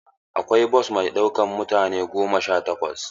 Akwai bos mai ɗaukan mutane goma sha takwas.